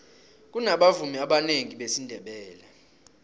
kunabavumi abanengi besindebele